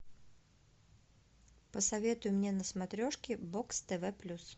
посоветуй мне на смотрешке бокс тв плюс